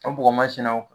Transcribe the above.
O bɔgɔmasinaw